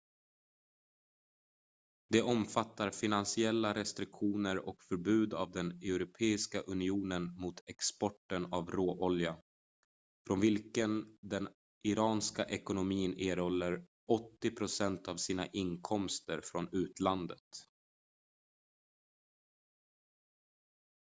de omfattar finansiella restriktioner och förbud av den europeiska unionen mot exporten av råolja från vilken den iranska ekonomin erhåller 80% av sina inkomster från utlandet